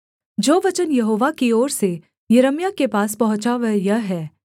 जो वचन यहोवा की ओर से यिर्मयाह के पास पहुँचा वह यह है